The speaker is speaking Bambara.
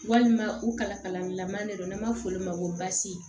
Walima u kala kalali lama de don n'an b'a fɔ olu ma ko basi